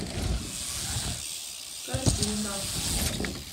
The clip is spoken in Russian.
корзинка